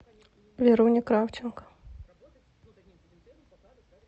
веруне кравченко